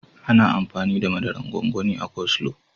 Ana amfani da mazaran gwangwani a coleslaw.